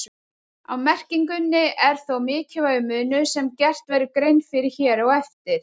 Á merkingunni er þó mikilvægur munur sem gert verður grein fyrir hér á eftir.